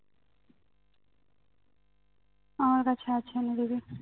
আমার কাছে আছে এনে দিবি